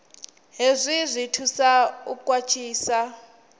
hezwi zwi thusa u khwaṱhisa